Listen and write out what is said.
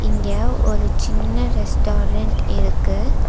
இங்க ஒரு சின்ன ரெஸ்டாரன்ட் இருக்கு.